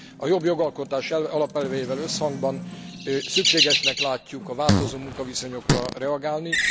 A jobb jogalkotás alapelveivel összhangban szükségesnek látjuk a változó munkaviszonyokra reagálni.